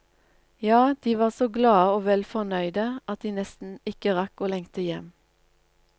Ja, de var så glade og vel fornøyde at de nesten ikke rakk å lengte hjem.